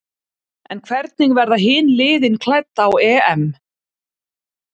En hvernig verða hin liðin klædd á EM?